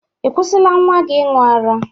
Ị kwusila nwa gị ịñụ ara?